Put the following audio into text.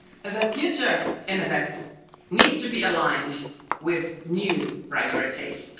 The future MFF needs to be aligned with new priorities.